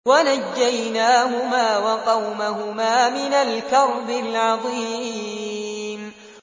وَنَجَّيْنَاهُمَا وَقَوْمَهُمَا مِنَ الْكَرْبِ الْعَظِيمِ